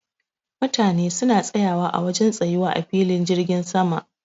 Mutane suna tsayawa a wajen tsayuwa a filin jirgin sama.